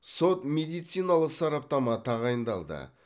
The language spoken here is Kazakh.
сот медициналық сараптама тағайындалды